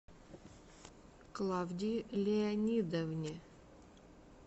клавдии леонидовне